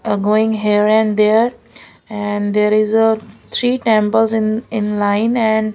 uh going here and there and there is a three temples in in line and --